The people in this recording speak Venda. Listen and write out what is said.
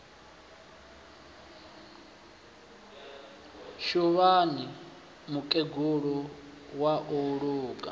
suvhani mukegulu wa u luga